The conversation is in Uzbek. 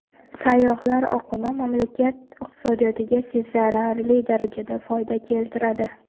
Sayyohlar oqimi mamlakat iqtisodiyotiga sezilarli darajada foyda keltiradi.